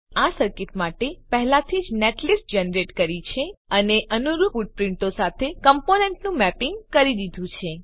આપણે આ સર્કીટ માટે પહેલાથી જ નેટલિસ્ટ જનરેટ કરી છે અને અનુરૂપ ફૂટપ્રીંટો સાથે કમ્પોનેન્ટનું મેપીંગ કરી દીધું છે